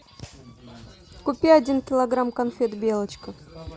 купи один килограмм конфет белочка